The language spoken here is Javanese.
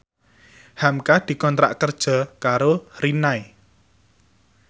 hamka dikontrak kerja karo Rinnai